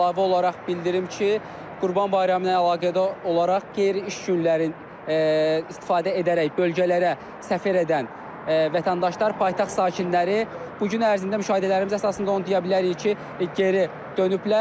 Mən əlavə olaraq bildirim ki, Qurban Bayramı ilə əlaqədar olaraq qeyri-iş günlərin istifadə edərək bölgələrə səfər edən vətəndaşlar, paytaxt sakinləri bu gün ərzində müşahidələrimiz əsasında onu deyə bilərik ki, geri dönüblər.